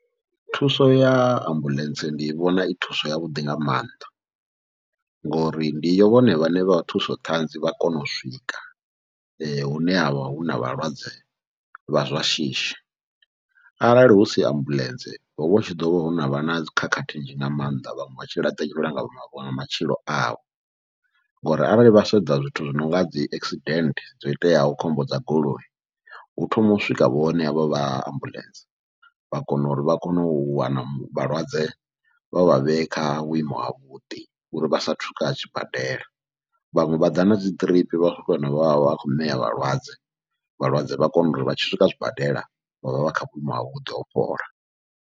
Thuso ya ambuḽentse ndi vhona i thuso yavhuḓi nga maanḓa, ngori ndi iyo ndi vhone vhane vha thusoṱhanzi vha kona u swika hune havha huna vhalwadze vha zwashishi, arali husi ambuḽentse hovha hu tshi ḓovha ho novha nadzi khakhathi nnzhi nga maanḓa vhaṅwe vhatshi laṱeliwa nga matshilo avho. Ngori arali vha sedza zwithu zwi nonga dzi accident dzo iteaho khombo dza goloi hu thoma u swika vhone havho vha ambuḽentse, vha kona uri vha kone u wana vhalwadze vha vha vhee kha vhuimo havhuḓi uri vha sathu swika zwibadela, vhaṅwe vha ḓa nadzi ḓiripi vha swika vha vha vha khou ṋea vhalwadze, vhalwadze vha kona uri vha tshi swika zwibadela vha vha vha kha vhuimo havhuḓi ho fhola.